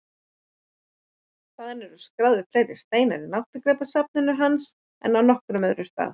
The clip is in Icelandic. Þaðan eru skráðir fleiri steinar í náttúrugripasafni hans en frá nokkrum stað öðrum.